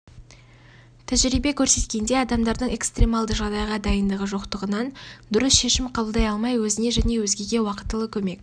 тәжірибе көрсеткендей адамдардың экстремалды жағдайға дайындығы жоқтығынан дұрыс шешім қабылдай алмай өзіне және өзгеге уақытылы көмек